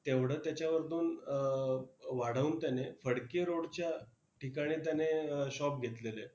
तेवढं त्याच्यावरतून अं वाढवून त्याने फडके road च्या ठिकाणी त्याने shop घेतलेले.